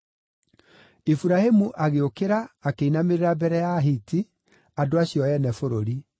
Iburahĩmu agĩũkĩra akĩinamĩrĩra mbere ya Ahiti, andũ acio ene bũrũri.